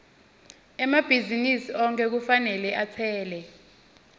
emabhizinisi onkhe kufanele atsele